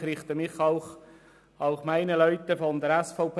Ich richtige mich auch an meine Leute von der SVP.